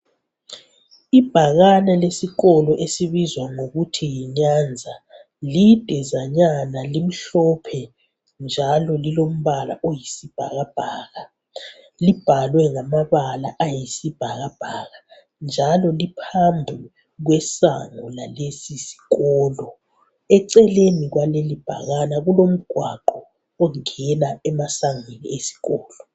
Ibhakane lesikolo esibizwa ngokuthi yi Nyanza lidezanyana limhlophe njalo lilombala oyisibhakabhaka , libhalwe ngamabala ayisibhakabhaka , njalo liphambi kwamasango alesisikolo , eceleni kwalelibhakane kulomgwaqo ongena emasangweni esikolo